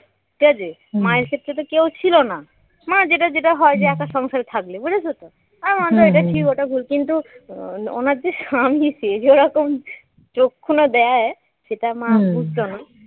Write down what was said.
ঠিক আছে মায়ের ক্ষেত্রে তো কেউ ছিল না মায়ের যেটা যেটা হয় যে একা সংসারে থাকলে বুঝেছ তো আর অন্য এটা ঠিক ওটা ভুল কিন্তু ও ওনার যে স্বামী সে যে ওরকম চক্ষু না দেয় সেটা মা বুঝতো না